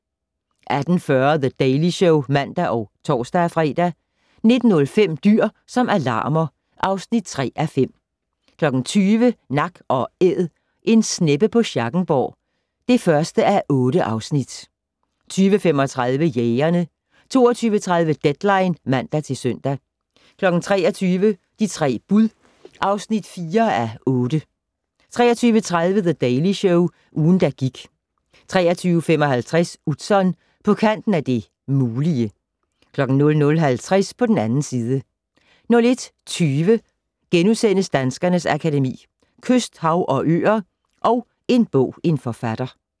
18:40: The Daily Show (man og tor-fre) 19:05: Dyr som alarmer (3:5) 20:00: Nak & Æd - en sneppe på Schackenborg (1:8) 20:35: Jægerne 22:30: Deadline (man-søn) 23:00: De tre bud (4:8) 23:30: The Daily Show - ugen, der gik 23:55: Utzon: På kanten af det mulige 00:50: På den 2. side 01:20: Danskernes Akademi: Kyst, hav, og øer & En bog - en forfatter *